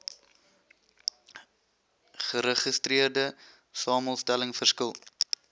geregistreerde samestelling verskil